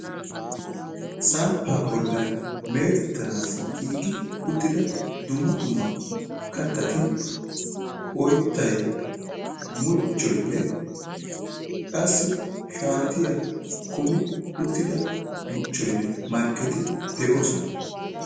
Samppaa bollan meetettanaassi giiggi uttida dumma dumma kattati oyttay, muchchoynne qassi shaatiya kami uttida muchchoynne markketi de'oosona.